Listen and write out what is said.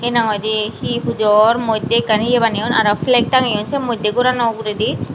hena hoi day he pujo or mod day akkan eya baneyoun aro flake tageyoun moddey goranno ogoredy.